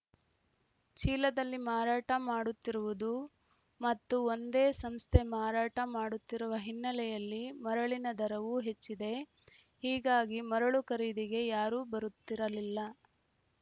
ಚೀಲದಲ್ಲಿ ಮಾರಾಟ ಮಾಡುತ್ತಿರುವುದು ಮತ್ತು ಒಂದೇ ಸಂಸ್ಥೆ ಮಾರಾಟ ಮಾಡುತ್ತಿರುವ ಹಿನ್ನೆಲೆಯಲ್ಲಿ ಮರಳಿನ ದರವೂ ಹೆಚ್ಚಿದೆ ಹೀಗಾಗಿ ಮರಳು ಖರೀದಿಗೆ ಯಾರೂ ಬರುತ್ತಿರಲಿಲ್ಲ